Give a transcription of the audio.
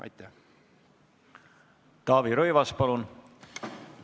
Taavi Rõivas, palun!